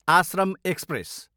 Ashram express